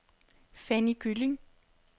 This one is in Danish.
Fanny Gylling